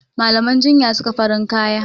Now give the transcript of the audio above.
Malaman jinya suka farin kaya.